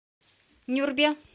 нюрбе